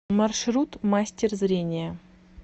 маршрут мастер зрения